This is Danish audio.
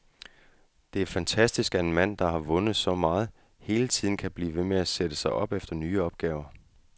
Det er fantastisk, at en mand, der har vundet så meget, hele tiden kan blive ved med at sætte sig op til nye opgaver.